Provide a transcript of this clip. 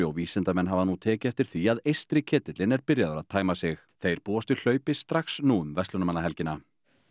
og vísindamenn hafa nú tekið eftir því að eystri ketillinn er byrjaður að tæma sig þeir búast við hlaupi strax nú um verslunarmannahelgina